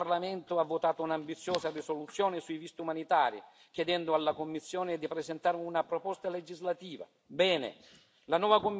Lo scorso marzo questo Parlamento ha votato un'ambiziosa risoluzione sui visti umanitari, chiedendo alla Commissione di presentare una proposta legislativa.